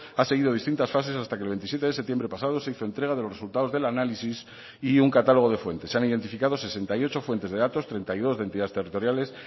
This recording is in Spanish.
ha seguido distintas fases hasta que el veintisiete de septiembre pasado se hizo entrega de los resultados del análisis y un catálogo de fuentes se han identificado sesenta y ocho fuentes de datos treinta y dos de entidades territoriales